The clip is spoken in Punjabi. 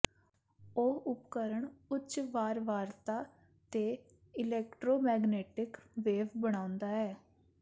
ਇਹ ਉਪਕਰਣ ਉੱਚ ਵਾਰਵਾਰਤਾ ਤੇ ਇਲੈਕਟ੍ਰੋਮੈਗਨੈਟਿਕ ਵੇਵ ਬਣਾਉਂਦਾ ਹੈ